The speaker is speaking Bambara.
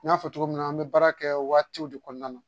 N y'a fɔ cogo min na an bɛ baara kɛ waatiw de kɔnɔna na